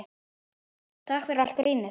Takk fyrir allt grínið.